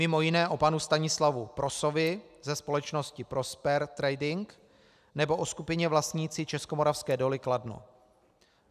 Mimo jiné o panu Stanislavu Prosovi ze společnosti Prosper Trading nebo o skupině vlastnící Českomoravské doly Kladno.